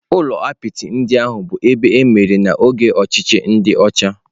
Ụlọ apịtị ndị ahụ bụ ebe emere n'oge ọchịchị ndi ocha.